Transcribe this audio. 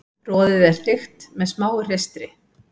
Roðið er þykkt með smáu hreistri.